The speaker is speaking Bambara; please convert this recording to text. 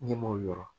Ne m'o yɔrɔ